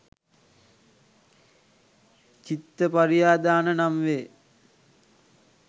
චිත්තපරියාදාන නම් වේ.